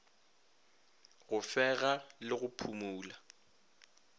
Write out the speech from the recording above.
go fega le go phumola